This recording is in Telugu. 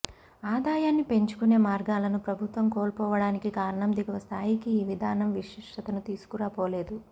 ఆదాయాన్ని పెంచుకునే మార్గాలను ప్రభుత్వం కోల్పోవడానికి కారణం దిగువ స్థాయికి ఈ విధానం విశిష్టతను తీసుకుపోలేదు